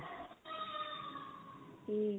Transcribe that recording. ਠੀਕ ਐ